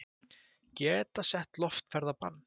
Geta sett loftferðabann